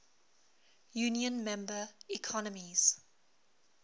union member economies